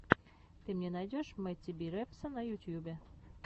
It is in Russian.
ты мне найдешь мэтти би репса на ютьюбе